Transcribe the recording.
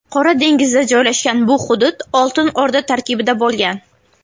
Qora dengizda joylashgan bu hudud Oltin O‘rda tarkibida bo‘lgan.